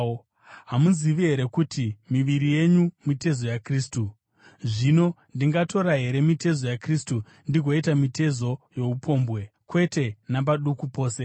Hamuzivi here kuti miviri yenyu mitezo yaKristu? Zvino ndingatora here mitezo yaKristu ndigoiita mitezo youpombwe? Kwete napaduku pose!